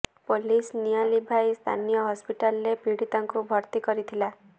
police ନିଆଁ ଲିଭାଇ ସ୍ଥାନୀୟ ହସ୍ପିଟାଲରେ ପୀଡ଼ିତାଙ୍କୁ ଭର୍ତ୍ତି କରିଥିଲା